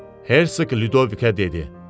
Hersoq Lyudovikə dedi: